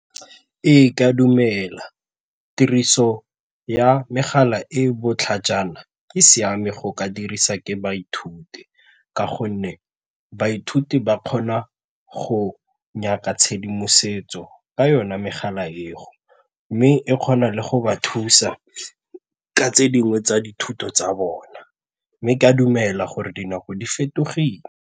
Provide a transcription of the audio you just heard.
Ee, ka dumela tiriso ya megala e e botlhajana e siame go ka dirisa ke baithuti ka gonne baithuti ba kgona go nyaka tshedimosetso ka yona megala eo mme e kgona le go ba thusa ka tse dingwe tsa dithuto tsa bona mme ke a dumela gore dinako di fetogile.